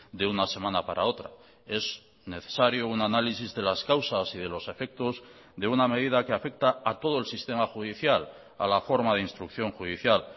de una semana para otra es necesario un análisis de las causas y de los efectos de una medida que afecta a todo el sistema judicial a la forma de instrucción judicial